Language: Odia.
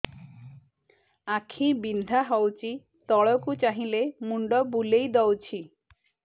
ଆଖି ବିନ୍ଧା ହଉଚି ତଳକୁ ଚାହିଁଲେ ମୁଣ୍ଡ ବୁଲେଇ ଦଉଛି